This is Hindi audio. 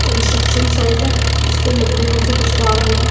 कंट्रक्शन साइड है जिसमे लकड़ियों से कुछ काम हो रहा--